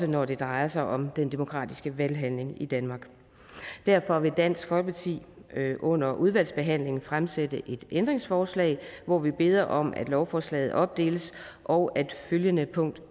når det drejer sig om den demokratiske valghandling i danmark derfor vil dansk folkeparti under udvalgsbehandlingen fremsætte et ændringsforslag hvori vi beder om at lovforslaget opdeles og at følgende punkt